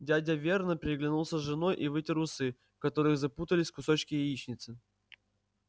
дядя вернон переглянулся с женой и вытер усы в которых запутались кусочки яичницы